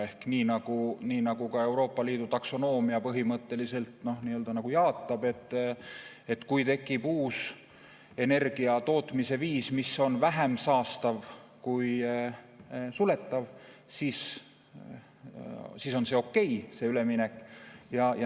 Ehk nii nagu ka Euroopa Liidu taksonoomia põhimõtteliselt jaatab: kui tekib uus energiatootmise viis, mis on vähem saastav kui suletav, siis on see üleminek okei.